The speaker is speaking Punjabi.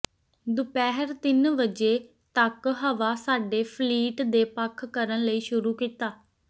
ਦੁਪਹਿਰ ਤਿੰਨ ਵਜੇ ਤਕ ਹਵਾ ਸਾਡੇ ਫਲੀਟ ਦੇ ਪੱਖ ਕਰਨ ਲਈ ਸ਼ੁਰੂ ਕੀਤਾ